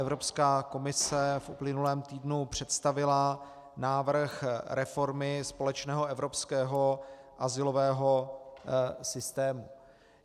Evropská komise v uplynulém týdnu představila návrh reformy společného evropského azylového systému.